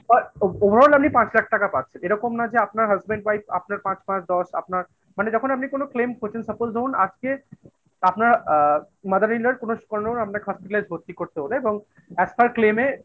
আচ্ছা Over allআপনি পাঁচ লাখ টাকা পাচ্ছেন এরকম না যে আপনার husband wife আপনার পাঁচ, পাঁচ, দশ, আপনার মানে যখন আপনি কোন claim করছেন suppose ধরুন আজকে আপনার আ mother in law কোনো আপনাকে Hospitalize ভর্তি হল এবং As per claim এ